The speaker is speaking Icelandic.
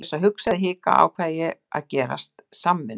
Án þess að hugsa eða hika ákveð ég að gerast samvinnu